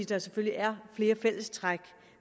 der selvfølgelig er flere fælles træk